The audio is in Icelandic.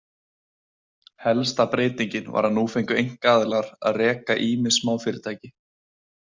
Helsta breytingin var að nú fengu einkaaðilar að reka ýmis smáfyrirtæki.